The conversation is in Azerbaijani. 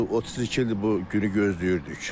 Biz bu 32 ildir bu günü gözləyirdik.